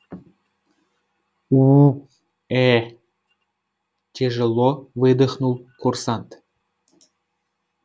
уу ээ тяжело выдохнул курсант